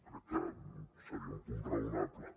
crec que seria un punt raonable